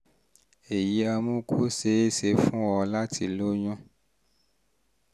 èyí á mú kó ṣe é ṣe fún ọ láti lóyún